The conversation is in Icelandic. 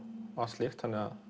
slíkt þannig að